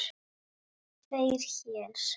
Tvo héra